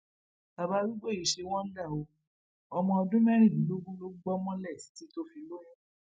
bàbá arúgbó yìí ṣe wọǹda o ọmọ ọdún mẹrìndínlógún ló gbọ mọlẹ títí tó fi lóyún